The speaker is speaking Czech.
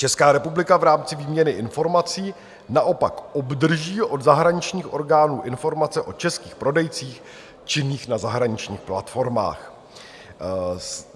Česká republika v rámci výměny informací naopak obdrží od zahraničních orgánů informace o českých prodejcích činných na zahraničních platformách.